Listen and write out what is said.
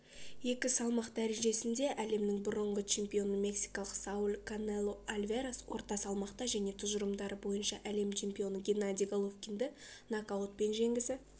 екі салмақ дәрежесінде әлемнің бұрынғы чемпионы мексикалық сауль канело альварес орта салмақта және тұжырымдары бойынша әлем чемпионы геннадий головкинді нокаутпен жеңгісі